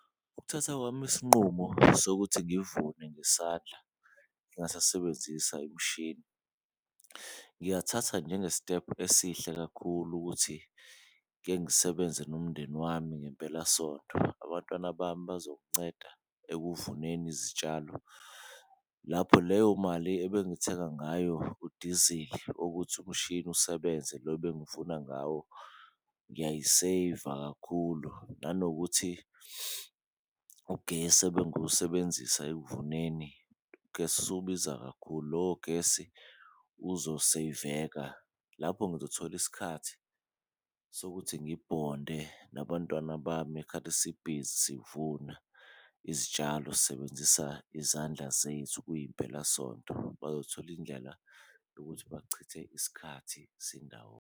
Ukuthatha kwami isinqumo sokuthi ngivune ngesandla ngingasasebenzisa imishini, ngithatha njengestephu esihle kakhulu ukuthi kengisebenze nomndeni wami ngempelasonto, abantwana bami bazokunceda ekuvuneni izitshalo. Lapho leyo mali ebengayithenga ngayo udizili ukuthi umshini usebenze lo ebengivuna ngawo, ngiyayiseyiva kakhulu nanokuthi ugesi ebengiwusebenzisa ekuvuneni ugesi usubiza kakhulu. Lowo gesi uzoseyiveka lapho ngizothola isikhathi sokuthi ngibhonde nabantwana bami ngekhathi sibhizi sivuna izitshalo sisebenzisa izandla zethu kuyimpelasonto, bazothola indlela yokuthi bachithe isikhathi sindawonye.